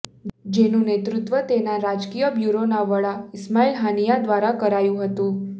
જેનું નેતૃત્વ તેના રાજકીય બ્યુરોના વડા ઈસ્માઈલ હાનિયાહ દ્વારા કરાયું હતું